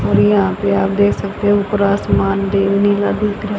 और यहां पे आप दे सकते हो ऊपर आसमान भी नीला दिख र--